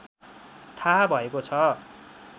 थाहा भएको छ